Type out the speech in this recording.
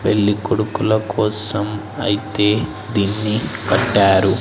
పెళ్లి కొడుకుల కోసం అయితే దీన్ని కట్టారు.